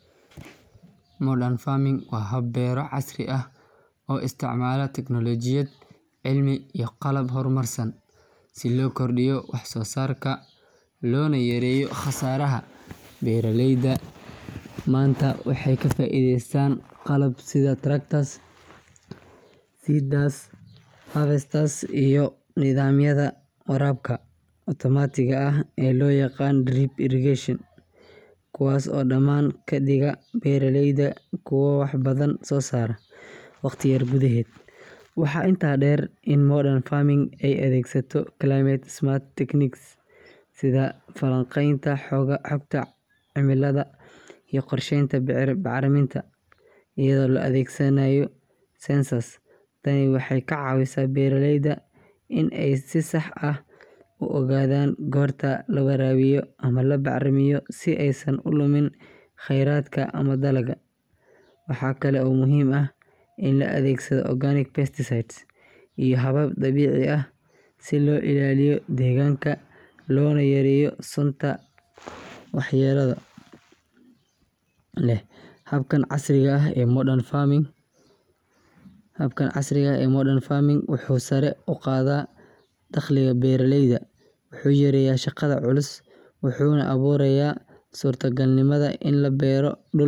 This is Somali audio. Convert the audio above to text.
Modern farming waa hab beero casri ah oo isticmaala teknoolojiyad, cilmi iyo qalab horumarsan si loo kordhiyo wax-soo-saarka loona yareeyo khasaaraha. Beeraleyda maanta waxay ka faa’iideystaan qalab sida tractors, seeders, harvesters, iyo nidaamyada waraabka otomaatiga ah ee loo yaqaan drip irrigation, kuwaas oo dhammaan ka dhigaya beeraleyda kuwo wax badan soo saara waqti yar gudaheed. Waxaa intaa dheer in modern farming ay adeegsato climate-smart techniques sida falanqaynta xogta cimilada, iyo qorsheynta bacriminta iyadoo la adeegsanayo soil sensors. Tani waxay ka caawisaa beeraleyda in ay si sax ah u ogaadaan goorta la waraabiyo ama la bacrimiyo si aysan u lumin kheyraadka ama dalagga. Waxa kale oo muhiim ah in la adeegsado organic pesticides iyo habab dabiici ah si loo ilaaliyo deegaanka loona yareeyo sunta waxyeellada leh. Habkan casriga ah ee modern farming wuxuu sare u qaadaa dakhliga beeraleyda, wuxuu yareeyaa shaqada culus, wuxuuna abuurayaa suurtogalnimada in la beero dhul.